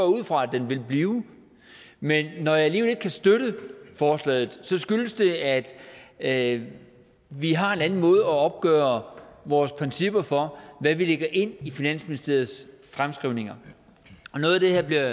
ud fra at den vil blive men når jeg alligevel ikke kan støtte forslaget skyldes det at at vi har en anden måde at opgøre vores principper for hvad vi lægger ind i finansministeriets fremskrivninger på noget af det her bliver